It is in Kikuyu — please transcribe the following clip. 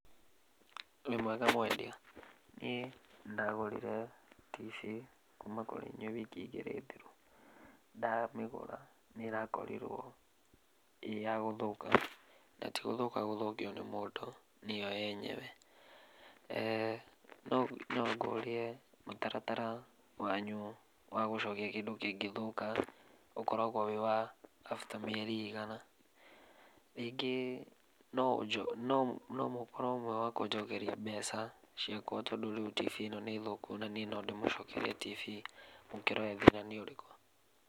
Wĩ mwega mwendia. Ĩĩ. Nĩndagũrire TV kuma kũrĩ inyuĩ wiki igĩrĩ thiru. Ndamĩgũra nĩrakorirwo ĩyagũthũka. Natigũthũka gũthũkio nĩ mũndũ, nĩyo yenyewe. No no ngũrie mũtaratara wanyu wa gũcokia kĩndũ kĩngĩthũka ũkoragũo wĩ wa after mĩeri ĩigana. Rĩngĩ noũnjokerie nomũkorwo mwĩwakũnjokeria mbeca ciakũa tondũ rĩu TV ĩno nĩ thũku, na niĩ nondĩmũcokerie TV mũkĩrore thina nĩ ũrĩkũ.